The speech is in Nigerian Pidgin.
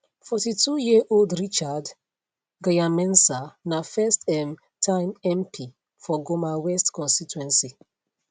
42 year old richard gyanmensah na first um time mp for goma west constituency